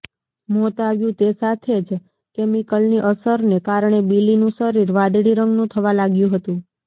મોત આવ્યું તે સાથે જ કેમિકલની અસરને કારણે બિલીનું શરીર વાદળી રંગનું થવા લાગ્યું હતું